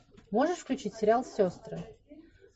можешь включить сериал сестры